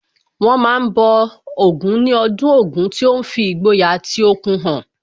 Wọ́n ma ń bọ Ògún níbi ọdún Ògún tí ó ń fi ìgboyà àti okun hàn